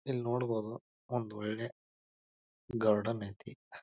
ಇಲ್ ನೋಡಬಹುದು ಒಂದ್ ಒಳ್ಳೆ ಗಾರ್ಡನ್ ಐತಿ.